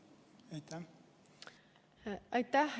Aitäh!